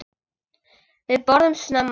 Við borðum snemma.